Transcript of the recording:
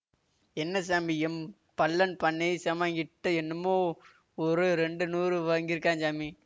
என்ன சாமி எம் பள்ளன் பண்ணையெ செமாங்கிட்டெ என்னமோ ஒரு ரெண்டு நூறு வாங்கிருக்காஞ் சாமி